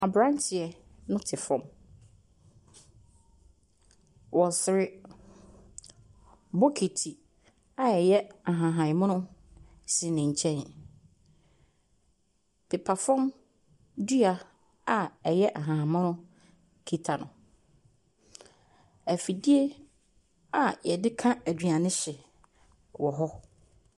Aberanteɛ no te fam. Ɔresere. Bokiti a ɛyɛ ahahammono si ne nkyɛn. Pepafam dua a ɛyɛ ahammono kita no. Afidie a wɔde ka aduane hye wɔ hɔ.